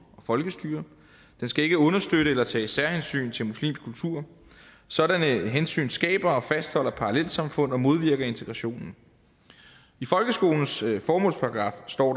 og folkestyre den skal ikke understøtte eller tage særhensyn til muslimsk kultur sådanne hensyn skaber og fastholder parallelsamfund og modvirker integrationen i folkeskolens formålsparagraf står